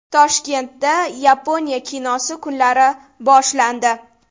Toshkentda Yaponiya kinosi kunlari boshlandi.